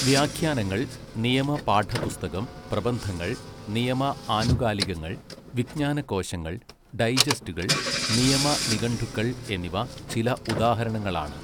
വ്യാഖ്യാനങ്ങൾ നിയമ പാഠപുസ്തകം പ്രബന്ധങ്ങൾ നിയമ ആനുകാലികങ്ങൾ വിജ്ഞാനകോശങ്ങൾ ഡൈജസ്റ്റുകൾ നിയമ നിഘണ്ടുക്കൾ എന്നിവ ചില ഉദാഹരണങ്ങളാണ്.